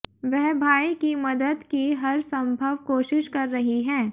वह भाई की मदद की हरसंभव कोशिश कर रही हैं